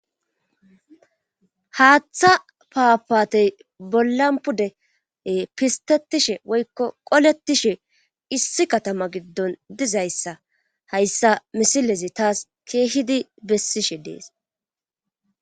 Haaththa paapaatey bollan pude pistetishe woykko qoletishe issi katama giddon dizayssa hayssa misilezi taas keehidi bessishe dees